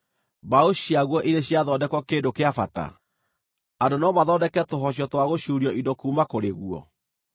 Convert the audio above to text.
Mbaũ ciaguo irĩ ciathondekwo kĩndũ kĩa bata? Andũ no mathondeke tũhocio twa gũcuurio indo kuuma kũrĩ guo?